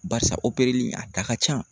Barisa opereli a da ka ca